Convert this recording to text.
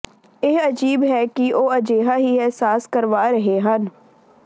ਇਹ ਅਜੀਬ ਹੈ ਕਿ ਉਹ ਅਜਿਹਾ ਹੀ ਅਹਿਸਾਸ ਕਰਵਾ ਰਹੇ ਹਨ